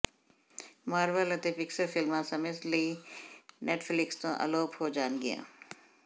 Marvel ਅਤੇ Pixar ਫਿਲਮਾਂ ਸਮੇਂ ਸਮੇਂ ਲਈ ਨੈੱਟਫਲਿਕਸ ਤੋਂ ਅਲੋਪ ਹੋ ਜਾਣਗੀਆਂ